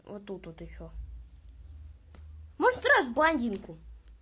вот тут вот ещё ну стирай эту блондинку